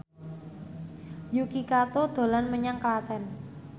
Yuki Kato dolan menyang Klaten